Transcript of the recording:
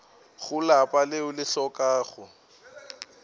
go lapa leo le hlokago